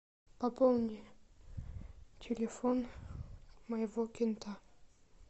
пополни телефон моего кента